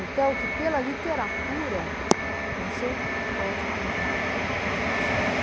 Então, que pela literatura você pode contar muita coisa da história.